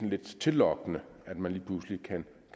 lidt tillokkende at man lige pludselig kan